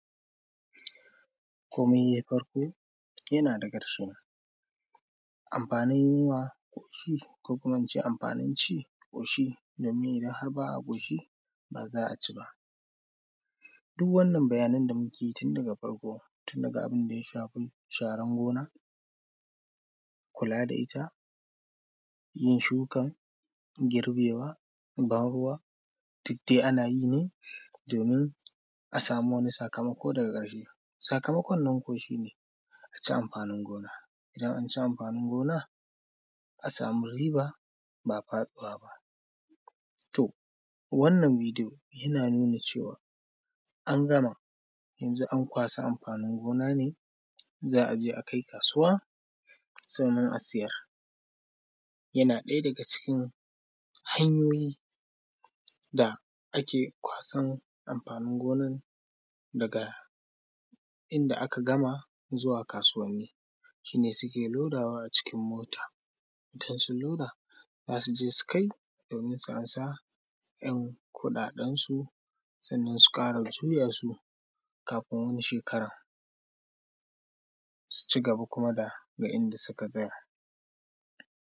komai yai farko yana da ƙarshe anfanin yunwa ƙoshi ko kuma in ce amfanin ci ƙoshi domin idan har ba a ƙoshi ba za a ci ba duk wannan bayanan da muke yi tun daga farko daga abun da ya shafi sharan gona kula da ita yin shuka girbewa ban ruwa duk dai ana yi ne domin a samu wani sakamako daga ƙarshe sakamakon nan ko shi ne a ci amfanin gona idan an ci amfanin gona a samu riba ba faɗuwa ba to wannan bidiyo yana nuna na cewa ɓangaren yanzu an kwashi amfanin gona ne yanzu za a kai kasuwa sannnan a siyar yanan ɗaya daga cikin hanyoyi da ake kwasan amfanin gonan daga inda aka gama zuwa kasuwanni shi ne suke lodawa a cikin mota don su loda za su je su kai domin su amsa ‘yan kuɗaɗensu sannnan su ƙara juya su kafun wani shekaran su ci gaba kuma daga inda suka tsaya